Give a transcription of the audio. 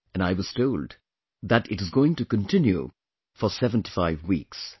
And I was told that is going to continue for 75 weeks